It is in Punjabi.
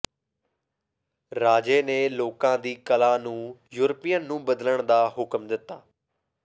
ਰਾਜੇ ਨੇ ਲੋਕਾਂ ਦੀ ਕਲਾ ਨੂੰ ਯੂਰਪੀਅਨ ਨੂੰ ਬਦਲਣ ਦਾ ਹੁਕਮ ਦਿੱਤਾ